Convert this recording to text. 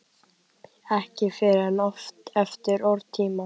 Ekki fyrr en eftir óratíma.